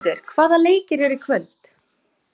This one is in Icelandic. Mundhildur, hvaða leikir eru í kvöld?